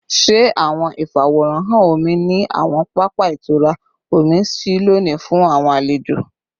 Ṣe awọn ifaworanhan omi ni awọn papa itura omi ṣii loni fun awọn alejo?